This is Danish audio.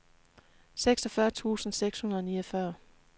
seksogfyrre tusind seks hundrede og niogfyrre